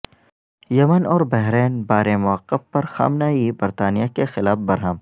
یمن اور بحرین بارے موقف پر خامنہ ای برطانیہ کے خلاف برہم